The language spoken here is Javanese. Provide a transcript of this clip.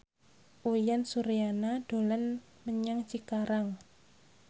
Uyan Suryana dolan menyang Cikarang